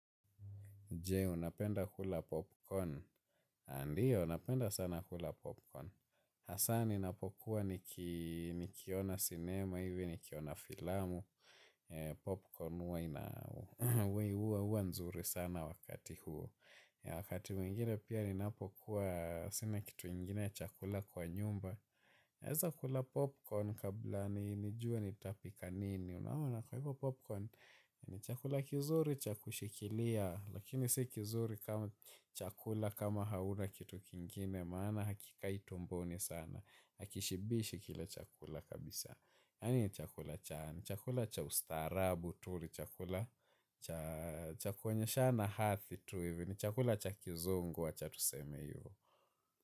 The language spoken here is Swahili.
Je, unapenda kula popcorn. Aa ndio, napenda sana kula popcorn. Hasa ninapokuwa nikiona sinema, hivi nikiona filamu. Popcorn huwa ina, huwa huwa nzuri sana wakati huo. Wakati mwingine pia, ninapokuwa sina kitu ingine ya chakula kwa nyumba. Naweza kula popcorn kabla nijue nitapika nini. Unaona kwa hivyo popcorn, ni chakula kizuri, cha kushikilia. Lakini si kizuri kama chakula kama hauna kitu kingine. Maana hakikai tumboni sana. Hakishibishi kilo chakula kabisa. Yaani ni chakula cha ni chakula cha ustaarabu tu. Ni chakula cha kuonyeshana hadhi tu hivi ni chakula cha kizungu wacha tuseme hivyo.